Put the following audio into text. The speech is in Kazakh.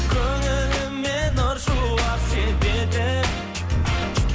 көңіліме нұр шуақ себетін